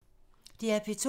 DR P2